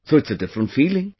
So it's a different feeling